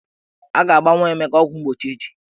A ga-agba nwa Emeka ọgwụmgbochi echi.